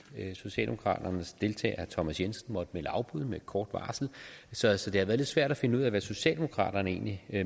socialdemokraternes deltager thomas jensen måtte melde afbud med kort varsel så så det har været lidt svært at finde ud af hvad socialdemokraterne egentlig